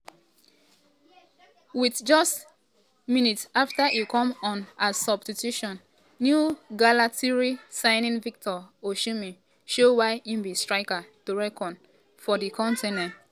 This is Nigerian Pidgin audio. wit just just minutes afta e come on as substitu ten ew galatasaray signing victor osimhenshow why im be striker to reckon wit for di continent.